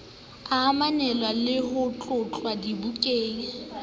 ananelwang le ho tlotlwa dibakeng